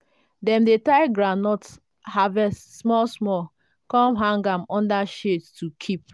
dem dey tie groundnut harvest small small come hang am under shade to keep.